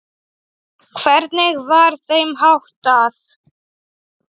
Hvernig var þeim háttað?